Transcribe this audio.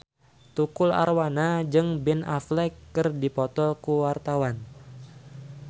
Tukul Arwana jeung Ben Affleck keur dipoto ku wartawan